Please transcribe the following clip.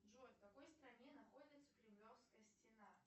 джой в какой стране находится кремлевская стена